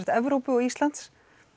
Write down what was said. Evrópu og Íslands